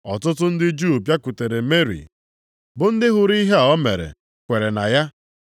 Ọtụtụ ndị Juu bịakwutere Meri bụ ndị hụrụ ihe a o mere, kwere na ya.